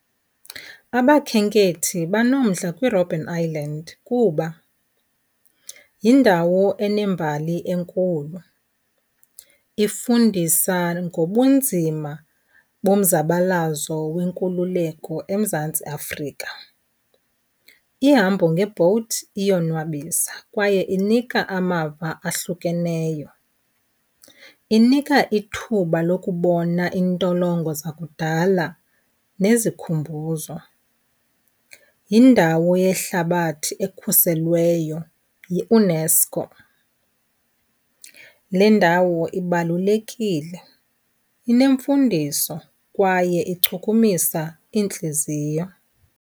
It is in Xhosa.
Abakhenkethi banomdla kwiRobben Island kuba yindawo enembali enkulu, ifundisa ngobunzima bomzabalaza wenkululeko eMzantsi Afrika. Ihambo nge-boat iyonwabisa kwaye inika amava ahlukeneyo. Inika ithuba lokubona iintolongo zakudala nezikhumbuzo. Yindawo yehlabathi ekhuselweyo yiUNESCO. Le ndawo ibalulekile, inemfundiso kwaye ichukumisa iintliziyo.